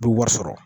U bɛ wari sɔrɔ